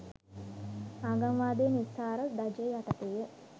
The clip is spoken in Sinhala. ආගම්වාදයේ නිස්සාර ධජය යටතේය